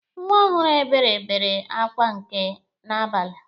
Nwa ọhụrụ Ebere bere akwa nke n'abalị.